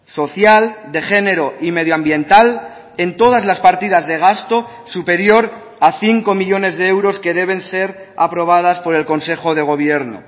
social de género y medio ambiental en todas las partidas de gasto superior a cinco millónes de euros que deben ser aprobadas por el consejo de gobierno